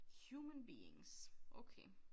Human beings okay